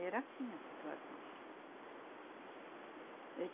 Era assim a situação.